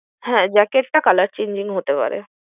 হ্যাঁ jacket টা colour changing হতে পারে।